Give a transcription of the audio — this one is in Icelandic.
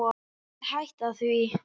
En ég mun hætta því.